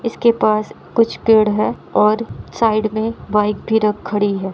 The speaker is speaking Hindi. इसके पास कुछ पेड़ हैं और साइड मे बाइक भी रख खड़ी है।